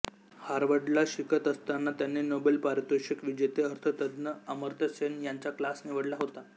हार्वर्डला शिकत असताना त्यांनी नोबेल पारितोषिक विजेते अर्थतज्ज्ञ अमर्त्य सेन यांचा क्लास निवडला होता